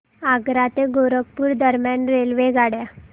आग्रा ते गोरखपुर दरम्यान रेल्वेगाड्या